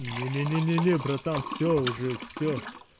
не-не-не не-не братан всё уже всё